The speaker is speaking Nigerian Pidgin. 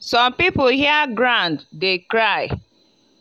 some people hear ground dey cry